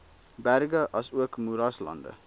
berge asook moeraslande